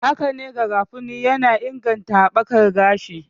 Hakane, garafuni yana inganta haɓakar gashi